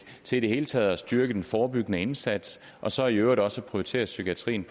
til i det hele taget at styrke den forebyggende indsats og så i øvrigt også har prioriteret psykiatrien